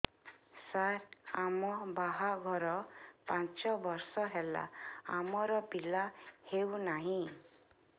ସାର ଆମ ବାହା ଘର ପାଞ୍ଚ ବର୍ଷ ହେଲା ଆମର ପିଲା ହେଉନାହିଁ